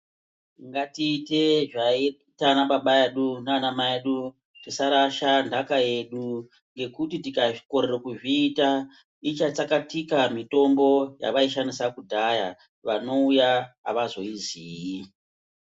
Ngatite zvaiita ana baba edu nana mai edu. Tisarasha ntaka yedu ngekuti tikakorera kuzviita ichatsakatika mitombo yawaishandisa kudhaya vanouya hawazoiziyi.